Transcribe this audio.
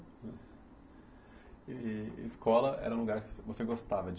E e escola era um lugar que você gostava de...